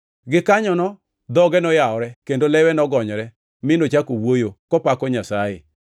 Gikanyono dhoge noyawore kendo lewe nogonyore, mi nochako wuoyo, kopako Nyasaye.